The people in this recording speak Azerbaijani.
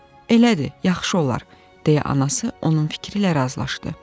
Elədir, yaxşı olar, deyə anası onun fikri ilə razılaşdı.